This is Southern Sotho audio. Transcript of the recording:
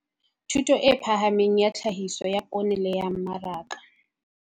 Thuto e Phahameng ya Tlhahiso ya Poone le ya Mmaraka.